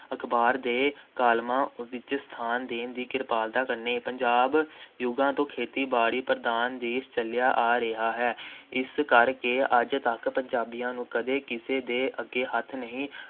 ਅਖ਼ਬਾਰ ਦੇ ਕਾਲਮਾਂ ਵਿੱਚ ਸਥਾਨ ਦੇਣ ਦੀ ਕਿਰਪਾਲਤਾ ਕਰਨੀ। ਪੰਜਾਬ ਯੁੱਗਾਂ ਤੋਂ ਖੇਤੀ-ਬਾੜੀ ਪ੍ਰਧਾਨ ਦੇਸ਼ ਚੱਲਿਆ ਆ ਰਿਹਾ ਹੈ । ਇਸ ਕਰਕੇ ਅੱਜ ਤੱਕ ਪੰਜਾਬੀਆਂ ਨੂੰ ਕਦੇ ਕਿਸੇ ਦੇ ਅੱਗੇ ਹੱਥ ਨਹੀਂ